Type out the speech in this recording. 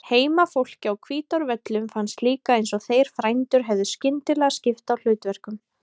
Heimafólki á Hvítárvöllum fannst líka eins og þeir frændur hefðu skyndilega skipt á hlutverkum.